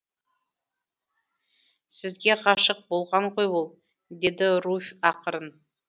сізге ғашық болған ғой ол деді руфь ақырын